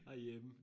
Herhjemme